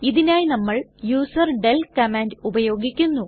ഇതിനായി നമ്മൾ userdel command ഉപയോഗിക്കുന്നു